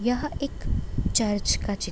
यह एक चर्च का चित्र --